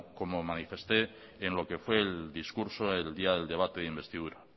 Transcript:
como manifesté en lo que fue el discurso el día del debate de investidura